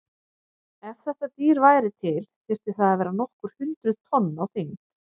Ef þetta dýr væri til þyrfti það að vera nokkur hundruð tonn á þyngd.